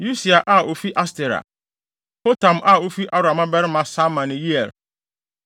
Usia a ofi Astera; Hotam a ofi Aroer mmabarima Sama ne Yeiel;